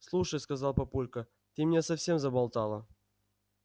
слушай сказал папулька ты меня совсем заболтала